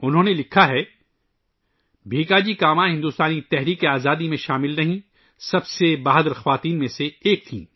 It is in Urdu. انہوں نے لکھا ہے '' بھیکاجی کاما ہندوستانی جدوجہد آزادی میں شامل سب سے بہادر خواتین میں سے ایک تھیں